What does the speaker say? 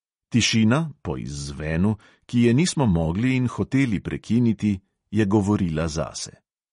Tišina (po izzvenu), ki je nismo mogli in hoteli prekiniti, je govorila zase.